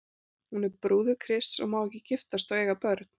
Hún er brúður Krists og má ekki giftast og eiga börn.